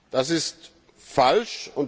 Das ist falsch.